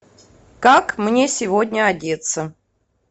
как мне сегодня одеться